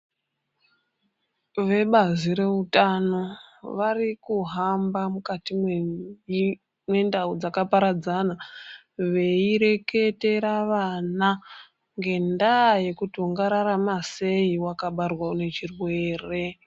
Vebazi reutano varikuhamba mukati mwendau dzakaparadzana veireketera vana ngendaaya yekuti ungararama sei wakabarwa unechirwere.